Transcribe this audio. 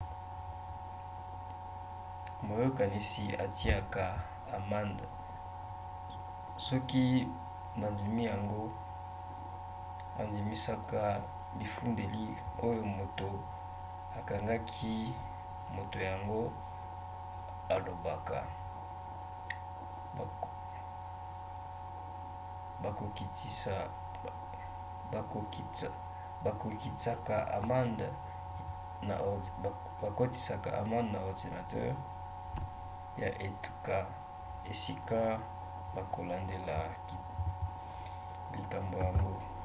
moyokanisi atiaka amande soki bandimi yango andimisaka bifundeli oyo moto akangaki moto yango alobaka. bakokitsaka amande na ordinatere ya etuka esika bakolandela likambo yango